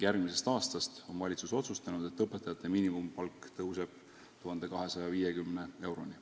Valitsus on otsustanud, et järgmisest aastast tõuseb õpetajate miinimumpalk 1250 euroni.